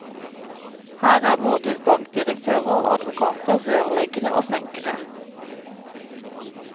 Her er både bankdirektører og advokater, rørleggere og snekkere.